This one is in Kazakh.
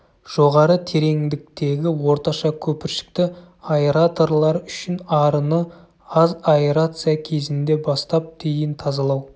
жоғары тереңдіктегі орташа көпіршікті аэраторлар үшін арыны аз аэрация кезінде бастап дейін тазалау